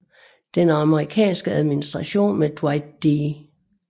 Den amerikanske administration med Dwight D